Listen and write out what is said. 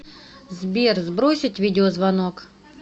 сбер сбросить видеозвонок